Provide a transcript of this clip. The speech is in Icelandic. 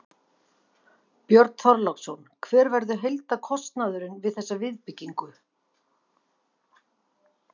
Björn Þorláksson: Hver verður heildarkostnaðurinn við þessa viðbyggingu?